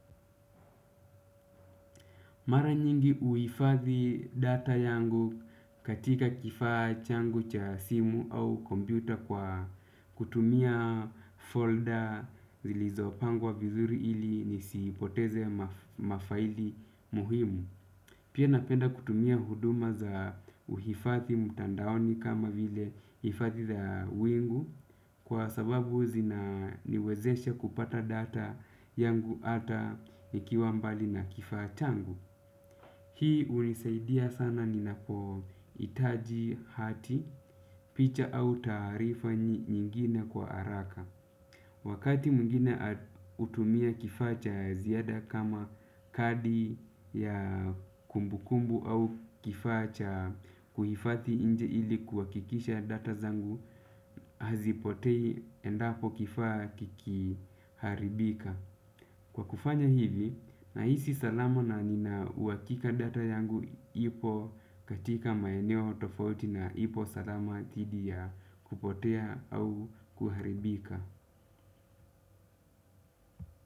Mara nyingi huifadhi data yangu katika kifaa changu cha simu au kompyuta kwa kutumia. Folder zilizo pangwa vizuri ili nisipoteze mafaili muhimu. Pia napenda kutumia huduma za uhifadhi mtandaoni kama vile ifadhi za wingu, kwa sababu zinaniwezesha kupata data yangu ata nikiwa mbali na kifaa changu. Hii unisaidia sana ninapo hitaji hati, picha au tarifa nyingine kwa haraka. Wakati mwingine hutumia kifaa cha ziada kama kadi ya kumbukumbu au kifaa cha kuhifadhi nje ili kuhakikisha data zangu hazipotei endapo kifaa kikiharibika. Kwa kufanya hivi, nahisi salama na nina uhakika data yangu ipo katika maeneo tofauti na ipo salama didhi ya kupotea au kuharibika.